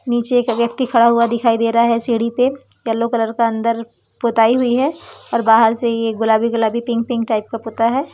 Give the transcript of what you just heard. नीचे एक व्यक्ति खड़ा हुआ दिखाई दे रहा है सीढ़ी पे येलो कलर का अंदर पुताई हुई है और बाहर से यह गुलाबी गुलाबी पिंक पिंक टाइप का पुता है।